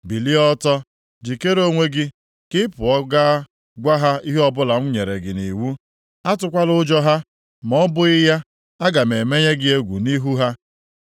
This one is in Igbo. “Bilie ọtọ, jikere onwe gị, ka ị pụọ gaa gwa ha ihe ọbụla m nyere gị nʼiwu. Atụkwala ụjọ ha, ma ọ bụghị ya, aga m emenye gị egwu nʼihu ha.